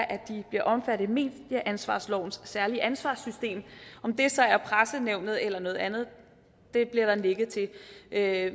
at de bliver omfattet af medieansvarslovens særlige ansvarssystem om det så er pressenævnet eller noget andet det bliver der nikket til at